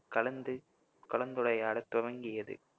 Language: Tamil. கலந்து~ கலந்துரையாடத் துவங்கியது